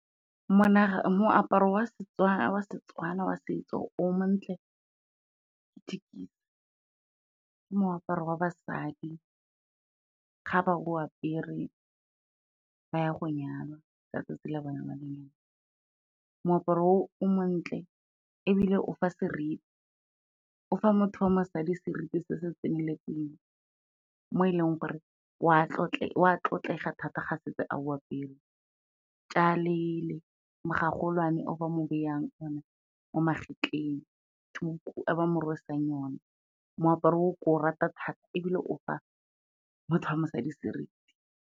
Moaparo wa Setswana wa setso o montle ke , ke moaparo wa basadi ga ba o apere ba ya go nyalwa ka tsatsi la bone la lenyalo. Moaparo o o montle ebile o fa seriti, o fa motho wa mosadi seriti se se tseneletseng, mo e leng gore wa tlotlega thata ga setse a o apere, tšale gagolwane o ba mo beyang one mo magetlheng, tuku e ba mo rwesang one, moaparo o ke o rata thata ebile o fa motho wa mosadi seriti.